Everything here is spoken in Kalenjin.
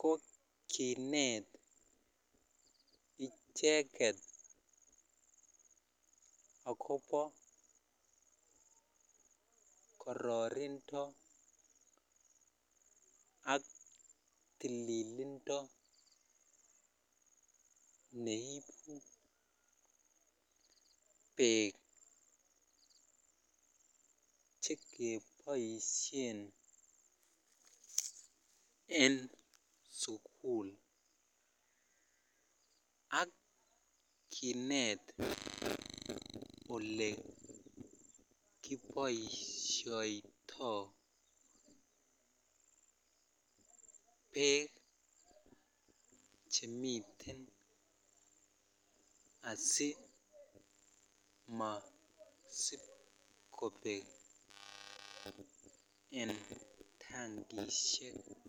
kokinet icheket akoba kororindo ak tililindo nei bek chekibaishen en sukul ak Kinet ole kibaishoitoi bek Chemiten asimasibkobek en tangishek